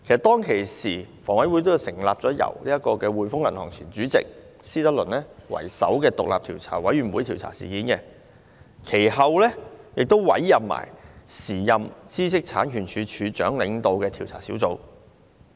當時，房委會成立了一個由滙豐銀行前主席施德論為首的獨立調查委員會調查有關事件，其後一併委任時任知識產權署署長領導的調查小組。